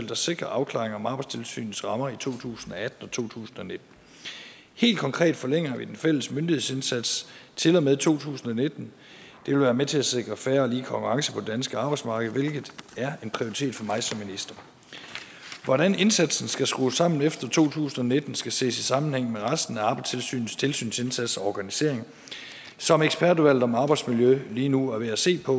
der sikrer afklaring om arbejdstilsynets rammer i to tusind og atten og to tusind og nitten helt konkret forlænger vi den fælles myndighedsindsats til og med to tusind og nitten det vil være med til at sikre fair og lige konkurrence på det danske arbejdsmarked hvilket er en prioritet for mig som minister hvordan indsatsen skal skrues sammen efter to tusind og nitten skal ses i sammenhæng med resten af arbejdstilsynets tilsynsindsats og organisering som ekspertudvalget om arbejdsmiljø lige nu er ved at se på